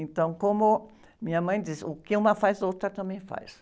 Então, como minha mãe diz, o que uma faz, a outra também faz.